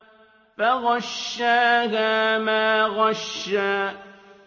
فَغَشَّاهَا مَا غَشَّىٰ